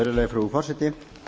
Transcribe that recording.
virðuelga frú forseti